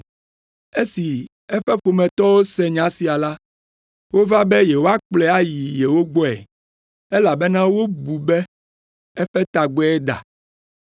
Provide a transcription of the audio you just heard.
Esi eƒe ƒometɔwo se nya sia la, wova be yewoakplɔe ayi yewo gbɔe, elabena wobu be eƒe tagbɔe da.